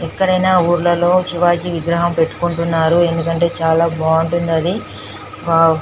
ఎక్కడైన ఊర్ల్లలో శివాజీ విగ్రహం పెట్టుకుంటున్నారు ఎందుకంటే చాల బాగుంటుంది అది వావ్ --